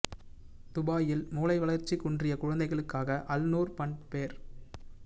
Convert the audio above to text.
துபாயில் மூளை வளர்ச்சி குன்றிய குழந்தைகளுக்காக அல் நூர் ஃபன் ஃபேர்